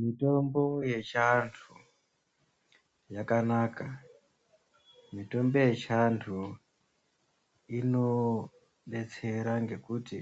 Mitombo yechiandu yakanaka mitombo yechiandu inodetsera nekuti